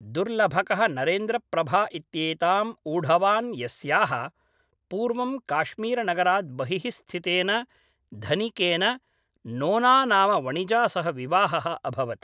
दुर्लभकः नरेन्द्रप्रभा इत्येताम् ऊढवान् यस्याः, पूर्वं काश्मीरनगरात् बहिः स्थितेन धनिकेन नोना नाम वणिजा सह विवाहः अभवत्।